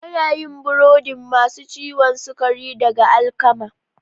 Ana yin burodin masu ciwon sukari daga alkama.